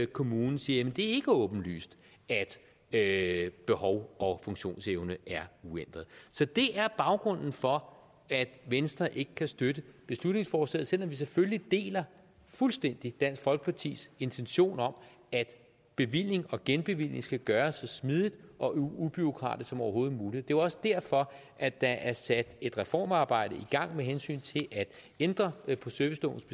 kommunen siger at det ikke er åbenlyst at behov og funktionsevne er uændret så det er baggrunden for at venstre ikke kan støtte beslutningsforslaget selv om vi selvfølgelig fuldstændig deler dansk folkepartis intention om at bevilling og genbevilling skal gøres så smidigt og ubureaukratisk som overhovedet muligt jo også derfor at der er sat et reformarbejde i gang med hensyn til at ændre på servicelovens